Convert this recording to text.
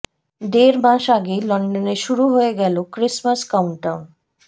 দেড় মাস আগেই লন্ডনে শুরু হয়ে গেল ক্রিসমাস কাউন্টডাউন